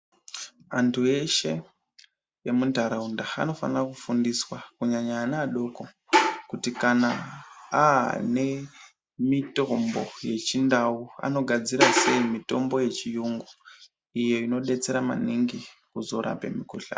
Antu eshe emuntaraunda anofana kufundiswa kunyanya ana adoko kuti kana aane mitombo yechindau anogadzira sei mitombo yechiyungu iyo unodetsera maningi kuzorape mikuhlani.